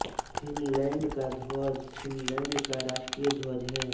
Finland का ध्वज Finland का राष्ट्रीय ध्वज है